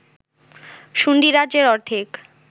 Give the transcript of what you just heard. শুন্ডীরাজ্যের অর্ধেক